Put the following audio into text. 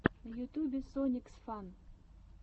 на ютьюбе сониксфан